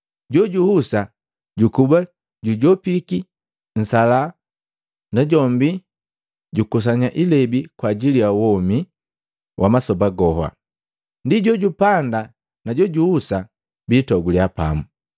Jojuhusa jukuba jujopiki nsalaha najombi jukusanya ilebi kwa ajili ja womi wa masoba goha, ndi jojupanda na jojuhusa bitoguliya pamu.